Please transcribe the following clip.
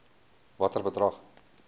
watter bedrag